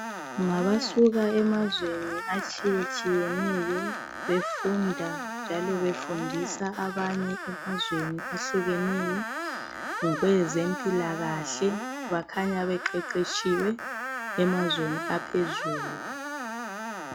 Ngabasuka emazweni atshiyetshiyeneyo befunda njalo befundisa abanye emazweni ayehlukeneyo ngokwezempilakahle. Bakhanya beqeqetshiwe emazweni aphezulu.